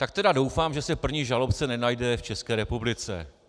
Tak tedy doufám, že se první žalobce nenajde v České republice.